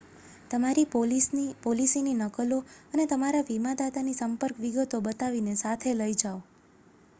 તમારી પોલિસીની નકલો અને તમારા વીમાદાતાની સંપર્ક વિગતો બનાવીને સાથે લઈ જાઓ